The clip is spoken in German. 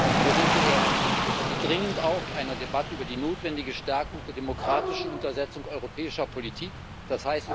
Aber seien wir ehrlich Es hätte dringend auch einer Debatte über die notwendige Stärkung der demokratischen Untersetzung europäischer Politik bedurft, d.